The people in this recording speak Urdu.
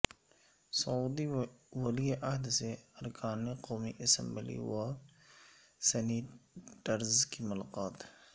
سعودی ولی عہد سے ارکان قومی اسمبلی و سینیٹرز کی ملاقات